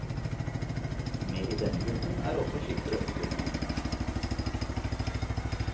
Med i denne gruppen er også skippere og styrmenn.